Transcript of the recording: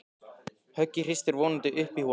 Höggið hristir vonandi upp í honum.